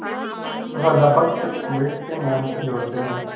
राजा भक्त अम्बरीश के नाम से जोड़ते हैं